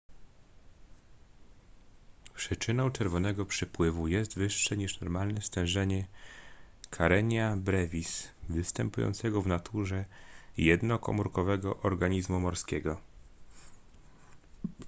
przyczyną czerwonego przypływu jest wyższe niż normalnie stężenie karenia brevis występującego w naturze jednokomórkowego organizmu morskiego